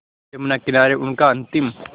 यमुना किनारे उनका अंतिम